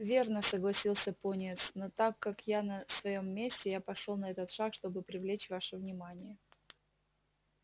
верно согласился пониетс но так как я на своём месте я пошёл на этот шаг чтобы привлечь ваше внимание